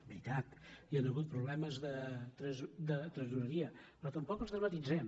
veritat hi han hagut problemes de tresore·ria però tampoc els dramatitzem